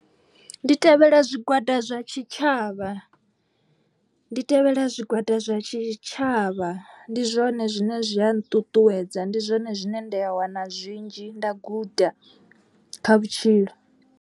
Ndi tevhela zwigwada zwa tshitshavha. Ndi tevhela zwigwada zwa tshitshavha ndi zwone zwine zwi a nṱuṱuwedza. Ndi zwone zwine nda wana zwinzhi nda guda kha vhutshilo.